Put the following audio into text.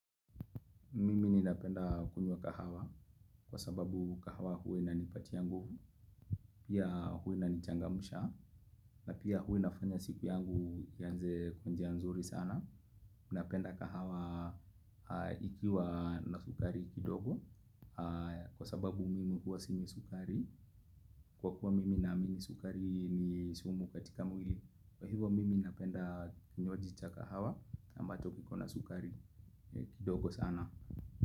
Mimi ninapenda kunywa kahawa kwa sababu kahawa huwa ina nipatia nguvu pia huwa ina nichangamsha na pia huwa inafanya siku yangu ianze kwa njia nzuri sana. Napenda kahawa ikiwa na sukari kidogo kwa sababu mimi huwa sinywi sukari kwa kuwa mimi naamini sukari ni sumu katika mwili. Kwa hivo mimi napenda kinywaji cha kahawa ambacho kiko na sukari kidogo sana.